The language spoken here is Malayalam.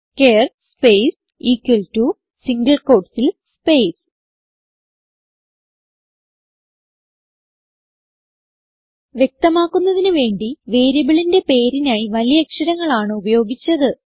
char space equal to single quotes ൽ സ്പേസ് വ്യക്തമാക്കുന്നതിന് വേണ്ടി വേരിയബിളിന്റെ പേരിനായി വലിയ അക്ഷരങ്ങൾ ആണ് ഉപയോഗിച്ചത്